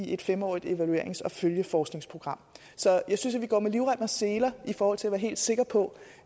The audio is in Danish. i et fem årig t evaluerings og følgeforskningsprogram så jeg synes at vi går med livrem og seler i forhold til at være helt sikre på